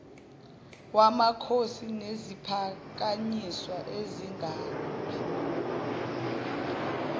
wamakhosi neziphakanyiswa asingabi